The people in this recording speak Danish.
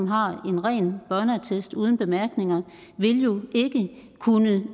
har en ren børneattest uden bemærkninger vil jo ikke kunne